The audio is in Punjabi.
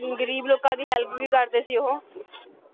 ਗ਼ਰੀਬ ਲੋਕਾਂ ਦੀ help ਵੀ ਕਰਦੇ ਸੀ ਉਹ